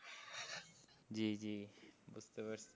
জি জি বুঝতে পারছি।